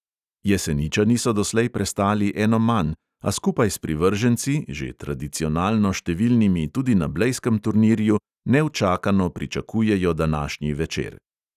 Jeseničani so doslej prestali eno manj, a skupaj s privrženci, že tradicionalno številnimi tudi na blejskem turnirju, neučakano pričakujejo današnji večer.